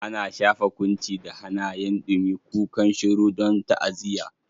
Ana shafa kunci da hannayen dumi, kukan shiru don ta'aziyya.